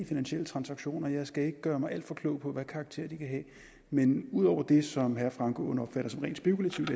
finansielle transaktioner jeg skal ikke gøre mig alt for klog på hvad karakter de kan have men ud over det som herre frank aaen opfatter som rent spekulativt